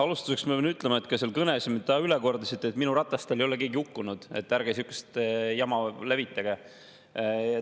Alustuseks ma pean ütlema selle kõne kohta, mida te nüüd üle kordasite: minu rataste all ei ole keegi hukkunud, ärge sihukest jama levitage.